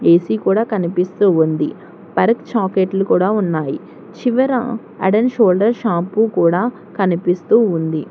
ఇది కూడా కనిపిస్తూ ఉంది పర్క్ చాక్లెట్లు కూడా ఉన్నాయి చివర అడాన్ షోల్డర్ షాంపు కూడా కనిపిస్తూ ఉంది.